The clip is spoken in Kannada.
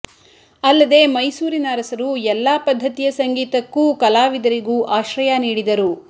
ಅಲ್ಲದೇ ಮೈಸೂರಿನ ಅರಸರು ಎಲ್ಲಾ ಪದ್ಧತಿಯ ಸಂಗೀತಕ್ಕೂ ಕಲಾವಿದರಿಗೂ ಆಶ್ರಯ ನೀಡಿದರು